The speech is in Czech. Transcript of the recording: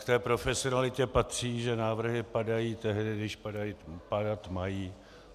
K té profesionalitě patří, že návrhy padají tehdy, když padat mají.